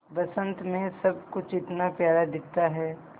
बसंत मे सब कुछ इतना प्यारा दिखता है